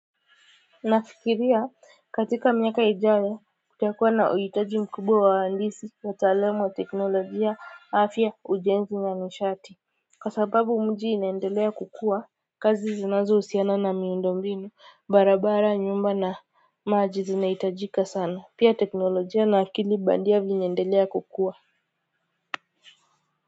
Nafikiria katika miaka ijayo kutakuwa na uhitaji mkubwa wa uhandisi utaalam wa teknolojia hafya, ujenzi na nishati kasababu mji inendelea kukua kazi zinazo usiana na miundombinu barabara nyumba na maji zinaitajika sana pia teknolojia na akili bandia vinaendelea kukua.